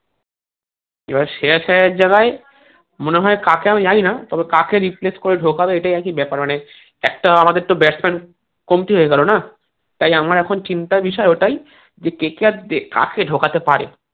এবার সে আছে এক জায়গায় মনে হয় কাকে আমি জানি না তবে কাকে replace করে ঢোকাবে এইটাই আরকি ব্যাপার মানে একটা আমাদের তো batsman কমতি হয়ে গেলো না তাই আমার চিন্তার বিষয় ওটাই যে KKR কাকে ঢোকাতে পারে